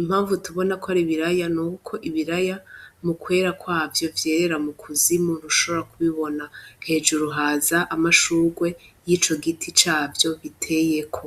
impamvu tubona kwari ibiraya, ni uko ibiraya mu kwera kwavyo vyerera mu kuzimu udashobora kubibona. Hejuru haza amashugwe y'ico giti cyavyo giteyeko.